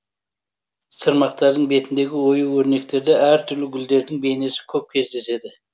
сырмақтардың бетіндегі ою өрнектерде әр түрлі гүлдердің бейнесі көп кездеседі